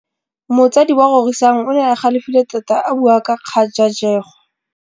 Motsadi wa Rorisang o ne a galefile tota a bua ka kgajajegô.